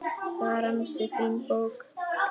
Það var ansi fín bók.